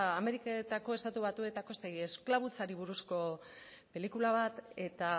ameriketako estatu batuetako esklabutzari buruzko pelikula bat eta